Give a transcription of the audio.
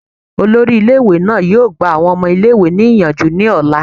Olori ile iwe naa yoo gba awọn ọmọ ile-iwe niyanju ni ọla